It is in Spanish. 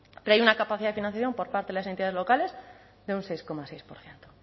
pero hay una capacidad de financiación por parte de las entidades locales de un seis coma seis por ciento